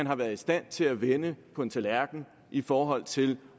har været i stand til at vende på en tallerken i forhold til